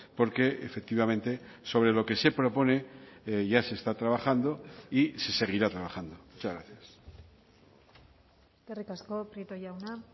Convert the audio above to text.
porque efectivamente sobre lo que se propone ya se está trabajando y se seguirá trabajando muchas gracias eskerrik asko prieto jauna